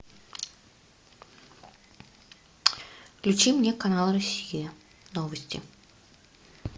включи мне канал россия новости